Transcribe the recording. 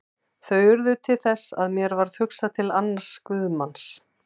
Þau urðu til þess að mér varð hugsað til annars guðsmanns.